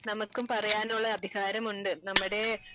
നമുക്കും പറയാനുള്ള അധികാരം ഉണ്ട് നമ്മുടെ